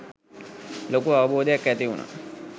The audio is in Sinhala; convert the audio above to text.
ලොකු අවබෝධයක් ඇතිවුනා.